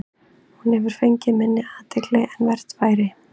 Hún hefur fengið mun minni athygli en vert væri.